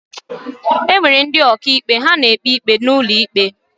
Enwere ndị ọkà ikpe, ha na-ekpe ikpe n'ụlọ íkpè.